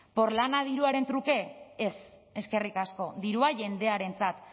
porlana diruaren truke ez eskerrik asko dirua jendearentzat